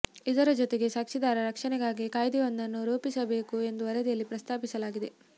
ಇದರ ಜೊತೆಗೆ ಸಾಕ್ಷಿದಾರರ ರಕ್ಷಣೆಗಾಗಿ ಕಾಯ್ದೆಯೊಂದನ್ನು ರೂಪಿಸಬೇಕು ಎಂದೂ ವರದಿಯಲ್ಲಿ ಪ್ರಸ್ತಾಪಿಸಲಾಗಿದೆ